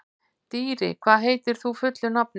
Dýri, hvað heitir þú fullu nafni?